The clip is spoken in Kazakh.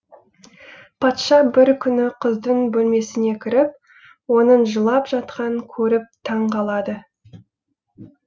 патша бір күні қыздың бөлмесіне кіріп оның жылап жатқанын көріп таң қалады